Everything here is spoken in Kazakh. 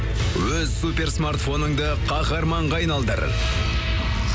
өз суперсмартфоныңды қаһарманға айналдыр